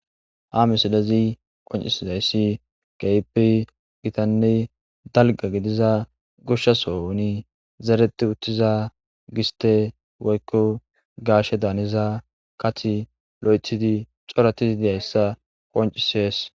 Ha misilezi qonccissizeyssi keehippe githanne dalgga gidiza goshsha sohooni zereththiuththiza gisththe woykko gaashedaaniza kaththi loyththidi coraththi deissa qonccisees.